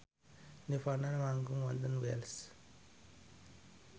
nirvana manggung wonten Wells